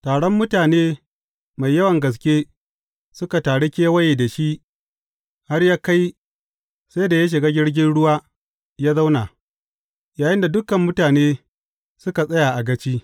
Taron mutane mai yawan gaske suka taru kewaye da shi har ya kai sai da ya shiga jirgin ruwa ya zauna, yayinda dukan mutane suka tsaya a gaci.